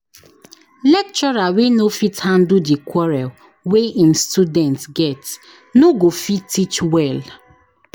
Lecturer wey no fit handle di quarrel wey im student get no go fit teach well.